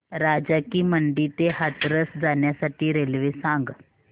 राजा की मंडी ते हाथरस जाण्यासाठी रेल्वे सांग